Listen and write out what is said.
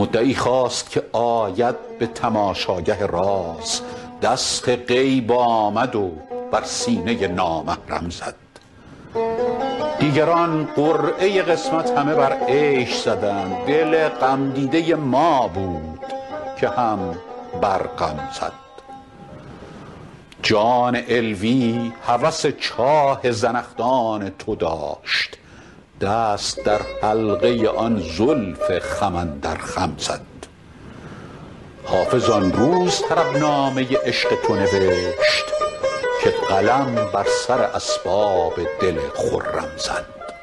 مدعی خواست که آید به تماشاگه راز دست غیب آمد و بر سینه نامحرم زد دیگران قرعه قسمت همه بر عیش زدند دل غمدیده ما بود که هم بر غم زد جان علوی هوس چاه زنخدان تو داشت دست در حلقه آن زلف خم اندر خم زد حافظ آن روز طربنامه عشق تو نوشت که قلم بر سر اسباب دل خرم زد